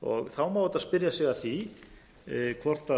þá má auðvitað spyrja sig að því hvort